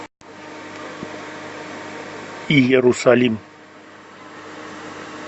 иерусалим